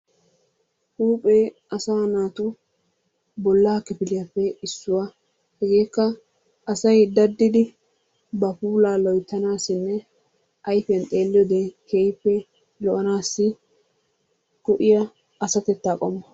Huuphee asaa naatu bollaa kifiliyappe issuwa. Hegeekka asay daddidi ba puulaa loyttanaassinne ayfiyan xeelliyode keehippe lo'anaassi go'iya asatettaa qommo.